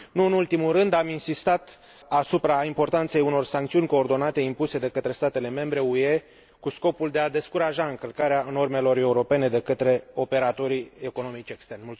Nu în ultimul rând, am insistat asupra importanței unor sancțiuni coordonate impuse de statele membre UE cu scopul de a descuraja încălcarea normelor europene de către operatorii economici externi.